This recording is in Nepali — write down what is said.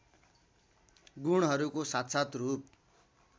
गुणहरूको साक्षात रूप